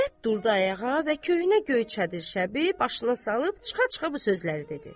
İzzət durdu ayağa və köhnə göyçə çadraşəbi başını salıb çıxa-çıxa bu sözləri dedi: